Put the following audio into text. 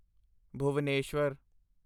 Bhubaneswar